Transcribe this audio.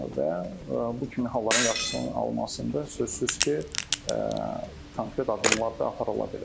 Və bu kimi halların qarşısının alınmasında sözsüz ki, konkret addımlar da aparıla bilər.